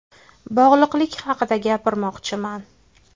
Bog‘liqlik haqida gapirmoqchiman.